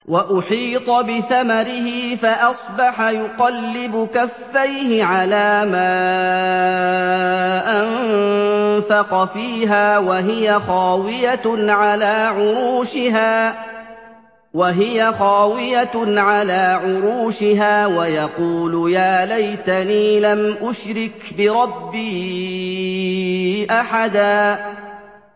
وَأُحِيطَ بِثَمَرِهِ فَأَصْبَحَ يُقَلِّبُ كَفَّيْهِ عَلَىٰ مَا أَنفَقَ فِيهَا وَهِيَ خَاوِيَةٌ عَلَىٰ عُرُوشِهَا وَيَقُولُ يَا لَيْتَنِي لَمْ أُشْرِكْ بِرَبِّي أَحَدًا